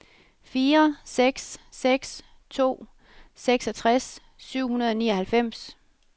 fire seks seks to seksogtres syv hundrede og nioghalvfems